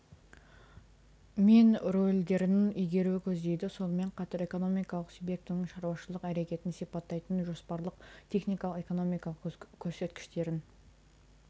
мен рөлдерін игеруді көздейді сонымен қатар экономикалық субъектінің шаруашылық әрекетін сипаттайтын жоспарлық техникалық экономикалық көрсеткіштерін